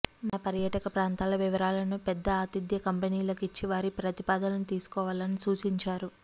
మన పర్యాటక ప్రాంతాల వివరా లను పెద్ద ఆతిథ్య కంపెనీలకు ఇచ్చి వారి ప్రతిపాదనలను తీసుకోవాలని సూచించారు